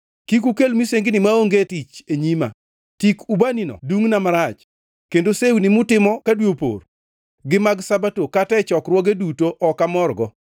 Kik ukel misengini maonge tich e nyima! Tik ubanino dungʼna marach, kendo sewni mutimo ka dwe opor, gi mag Sabato kata e chokruoge duto ok amorgo.